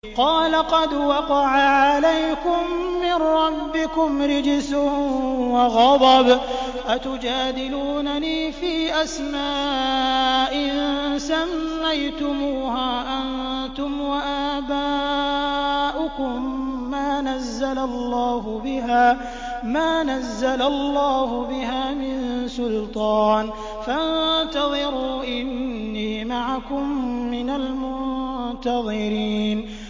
قَالَ قَدْ وَقَعَ عَلَيْكُم مِّن رَّبِّكُمْ رِجْسٌ وَغَضَبٌ ۖ أَتُجَادِلُونَنِي فِي أَسْمَاءٍ سَمَّيْتُمُوهَا أَنتُمْ وَآبَاؤُكُم مَّا نَزَّلَ اللَّهُ بِهَا مِن سُلْطَانٍ ۚ فَانتَظِرُوا إِنِّي مَعَكُم مِّنَ الْمُنتَظِرِينَ